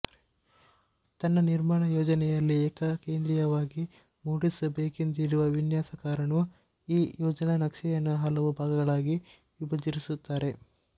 ತನ್ನ ನಿರ್ಮಾಣಯೋಜನೆಯಲ್ಲಿ ಏಕಕೇಂದ್ರೀಯವಾಗಿ ಮೂಡಿಸಬೇಕೆಂದಿರುವ ವಿನ್ಯಾಸಕಾರನು ಈ ಯೋಜನಾನಕ್ಷೆಯನ್ನು ಹಲವು ಭಾಗಗಳಾಗಿ ವಿಭಜಿಸಿರುತ್ತಾರೆ